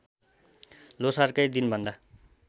ल्होसारकै दिनभन्दा